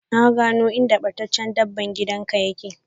Na gano inda battaccce dabban gida ka yake.